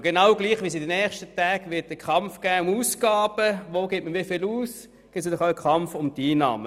Genauso wie es in den ersten Tagen einen Kampf um Ausgaben geben wird, gibt es natürlich auch einen Kampf um die Einnahmen.